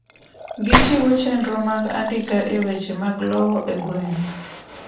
Gichiwo chenro mag andika e weche mag lowo e gweng'